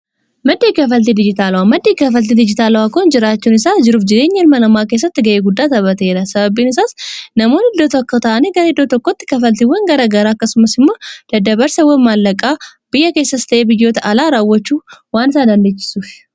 Maddi kaffaltii dijitaalawaa maddii dijitaalawaa kun jiraachuun isaa jiruuf jireenya ilma namaa keessatti ga'ee guddaa taphateera. Sababiin isaas namoonni iddoo tokko ta'ani gara iddoo tokkotti kafaltiiwwan gara garaa akkasumas immoo dadda-barsawwan maallaqaa biyya keessas ta'ee biyyoota alaa raawwachuu waan isaa dandeechisuuf.